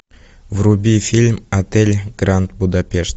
вруби фильм отель гранд будапешт